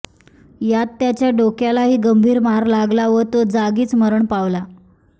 यात त्याच्या डोक्यालाही गंभीर मार लागला व तो जागीच मरण पावला